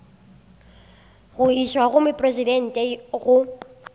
go išwa go mopresidente go